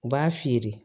U b'a feere